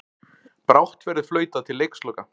Brátt verður flautað til leiksloka